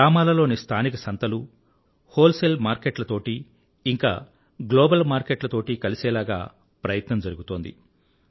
గ్రామాలలోని స్థానిక సంతలు హోల్సేల్ మార్కెట్ల తోటీ ఇంకా గ్లోబల్ మార్కెట్ల తోటీ కలిసేలాగ ప్రయత్నం జరుగుతోంది